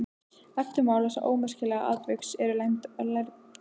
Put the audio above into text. Eftirmál þessa ómerkilega atviks eru lærdómsrík.